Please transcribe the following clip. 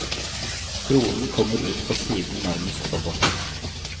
Dronen kommer ut på siden nærmest roboten.